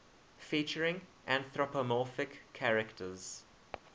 featuring anthropomorphic characters